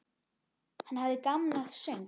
Hann hafði gaman af söng.